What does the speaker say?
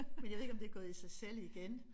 Men jeg ved ikke om det gået i sig selv igen